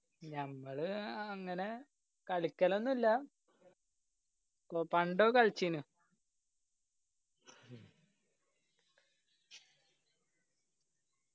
ഞങ്ങള് ആഹ് അങ്ങനെ കളിക്കലൊന്നുല്ല പണ്ടൊക്കെ കളിച്ചിന്.